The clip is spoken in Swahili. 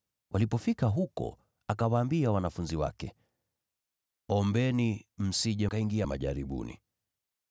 Walipofika huko, akawaambia wanafunzi wake, “Ombeni, msije mkaingia majaribuni.”